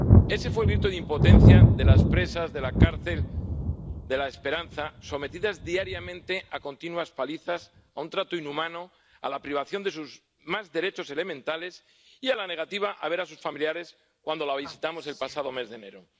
Ese fue el grito de impotencia de las presas de la cárcel de La Esperanza —sometidas diariamente a continuas palizas, a un trato inhumano, privadas de sus derechos más elementales y que no pueden ver a sus familiares—, cuando las visitamos el pasado mes de enero.